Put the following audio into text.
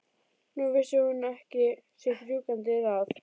Nú vissi hún ekki sitt rjúkandi ráð.